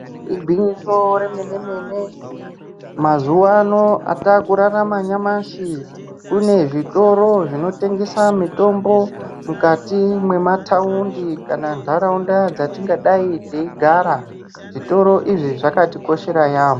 Igwinyiso remene-mene, mazuva anotakurarama nyamashi, kune zvitoro zvinotengesa mitombo mukati mwemataundi, kana ntarunda dzatingadai teigara. Zvitoro izvi zvakatikoshera yaamho.